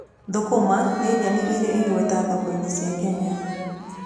Thũkũma nĩ nyeni ĩrĩ igweta thoko-inĩ cia Kenya.